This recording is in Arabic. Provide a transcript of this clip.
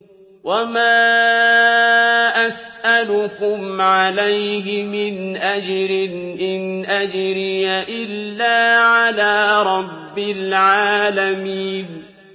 وَمَا أَسْأَلُكُمْ عَلَيْهِ مِنْ أَجْرٍ ۖ إِنْ أَجْرِيَ إِلَّا عَلَىٰ رَبِّ الْعَالَمِينَ